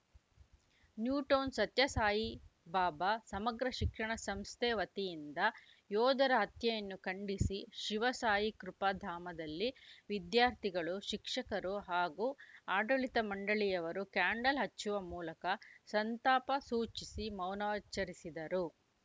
new town Sathyasai Baba ಸಮಗ್ರ ಶಿಕ್ಷಣ ಸಂಸ್ಥೆ ವತಿಯಿಂದ ಯೋಧರ ಹತ್ಯೆಯನ್ನು ಖಂಡಿಸಿ ಶಿವಸಾಯಿ ಕೃಪ ಧಾಮದಲ್ಲಿ ವಿದ್ಯಾರ್ಥಿಗಳು ಶಿಕ್ಷಕರು ಹಾಗೂ ಆಡಳಿತ ಮಂಡಳಿಯವರು ಕ್ಯಾಂಡಲ್‌ ಹಚ್ಚುವ ಮೂಲಕ ಸಂತಾಪ ಸೂಚಿಸಿ ಮೌನಾಚರಿಸಿದರು